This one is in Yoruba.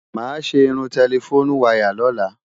Máa ṣe irun tẹlifónú wayà lóla.